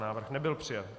Návrh nebyl přijat.